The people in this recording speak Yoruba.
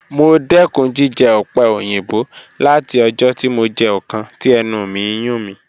Mo dẹkun jijẹ ope oyinbo lati ọjọ ti mo jẹ ọkan ti ẹnu mi n yun mi.